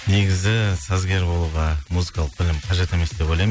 негізі сазгер болуға музыкалық білім қажет емес деп ойлаймын